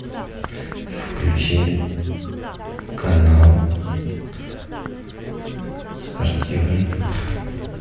включи канал спортивный